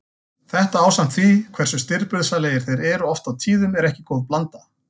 Þetta ásamt því hversu stirðbusalegir þeir eru oft á tíðum er ekki góð blanda.